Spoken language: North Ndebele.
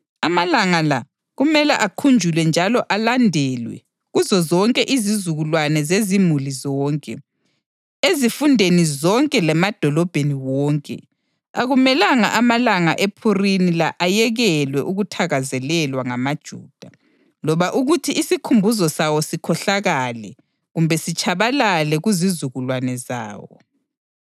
Amalanga la kumele akhunjulwe njalo alandelwe kuzozonke izizukulwane zezimuli zonke, ezifundeni zonke lemadolobheni wonke. Akumelanga amalanga ePhurimi la ayekelwe ukuthakazelelwa ngamaJuda, loba ukuthi isikhumbuzo sawo sikhohlakale kumbe sitshabalale kuzizukulwane zawo.